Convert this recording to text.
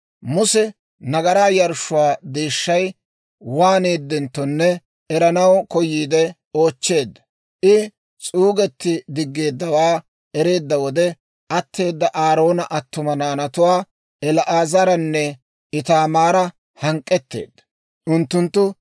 Muse nagaraa yarshshuwaa deeshshay waaneedenttonne eranaw koyiide oochcheedda; I s'uugetti diggeeddawaa ereedda wode, atteeda Aaroona attuma naanatuwaa, El"aazaranne Itaamaara hank'k'etteedda; unttunttu,